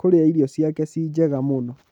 kũria irio ciake ciĩ njega mũno.